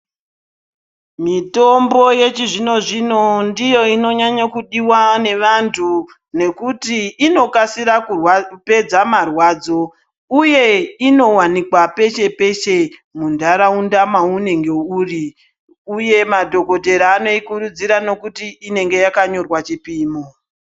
Mitombo yechizvino zvino ndiyo inonyanya kudiwa neanhtu ngekuti inokasira kupedza marwadzo uye inowanikwa peshe peshe muntaraunda mwaunenge uri uye madhokodhera anoikurudzira ngekuti inenge yakanyorwa chipimo.